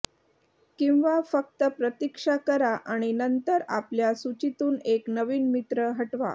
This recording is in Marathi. किंवा फक्त प्रतीक्षा करा आणि नंतर आपल्या सूचीतून एक नवीन मित्र हटवा